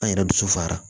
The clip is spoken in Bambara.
An yɛrɛ dusu fara